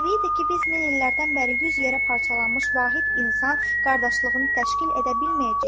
Təbiidir ki, biz min illərdən bəri yüz yerə parçalanmış vahid insan qardaşlığını təşkil edə bilməyəcəyik.